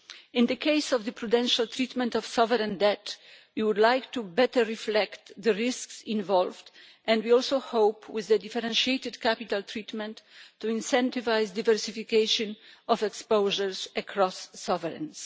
In the case of the prudential treatment of sovereign debt, we would like to better reflect the risks involved, and we also hope, with the differentiated capital treatment, to incentivise diversification of exposures across sovereigns.